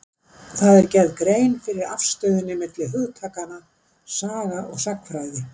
Þar er gerð grein fyrir afstöðunni milli hugtakanna saga og sagnfræði.